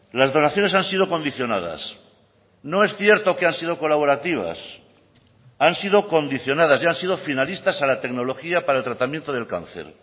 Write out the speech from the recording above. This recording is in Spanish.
las donaciones han sido condicionadas no es cierto que han sido colaborativas han sido condicionadas y han sido finalistas a la tecnología para el tratamiento del cáncer